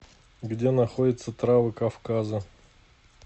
где находится травы кавказа